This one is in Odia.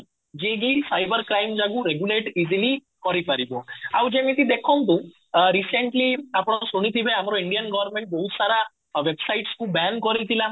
ଯିଏକି ସାଇବର କ୍ରାଇମ ଜାଗୁ regulate easily କରିପାରିବ ଆଉ ଯେମିତି ଦେଖନ୍ତୁ recently ଆପଣ ଶୁଣିଥିବେ ଆମର ଇଣ୍ଡିଆନ government ବହୁତ ସାରା websites କୁ ବ୍ୟାନ କରିଥିଲା